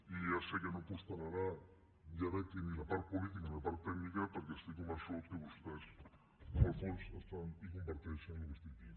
i ja sé que no prosperarà ja veig que ni la part política ni la part tècnica perquè estic convençut que vostès en el fons estan i comparteixen el que estic dient